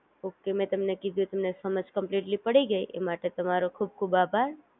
okay મે તમને કીધું એ તમને સમજ કમ્પ્લીટલી પડી ગઈ ઈ માટે તમારો ખૂબ ખૂબ આભાર